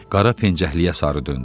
Qara pencəkliyə sarı döndü.